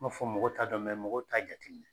N man fɔ mɔgɔw t'a dɔn mɔgɔw t'a jate minɛ.